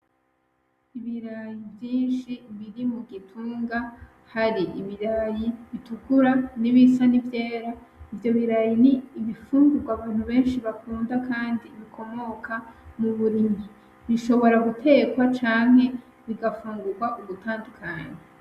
Ibiraya vyinshi biri mu gitunga, hari ibiraya bitukura nibisa n'ivyera. Ivyo biraya ni ibifungurwa abantu benshi bakunda bikomoka mu burimyi. Bishobora gutekwa canke bigafungurwa ugutandukanye.